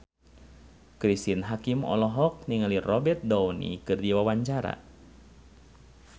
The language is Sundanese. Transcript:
Cristine Hakim olohok ningali Robert Downey keur diwawancara